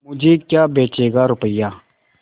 मुझे क्या बेचेगा रुपय्या